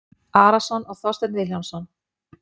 Arason og Þorstein Vilhjálmsson.